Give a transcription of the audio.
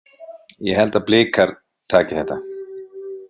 Ég held að Blikar taki þetta.